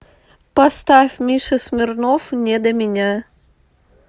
поставь миша смирнов не до меня